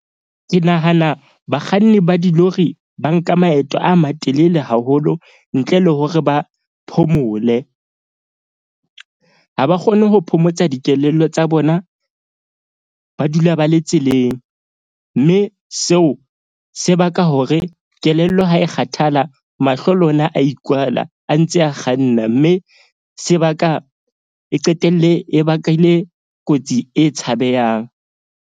Ke nahana bakganni ba dilori ba nka maeto a matelele haholo ntle le hore ba phomole. Ha ba kgone ho phomotsa dikelello tsa bona. Ba dula ba le tseleng mme seo se baka hore kelello ha e kgathala. Mahlo le ona a ikwala a ntse a kganna, mme sebaka e qetelle e bakile kotsi e tshabehang.